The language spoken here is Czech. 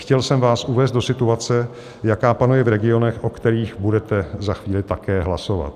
Chtěl jsem vás uvést do situace, jaká panuje v regionech, o kterých budete za chvíli také hlasovat.